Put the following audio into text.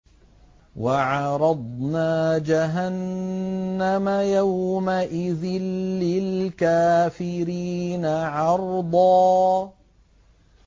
وَعَرَضْنَا جَهَنَّمَ يَوْمَئِذٍ لِّلْكَافِرِينَ عَرْضًا